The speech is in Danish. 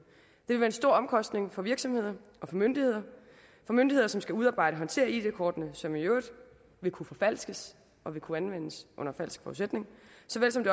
det vil give en stor omkostning for virksomhederne og for myndighederne for myndighederne skal udarbejde og håndtere id kortene som i øvrigt vil kunne forfalskes og vil kunne anvendes under falske forudsætninger